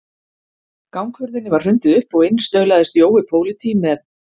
Ganghurðinni var hrundið upp og inn staulaðist Jói pólití með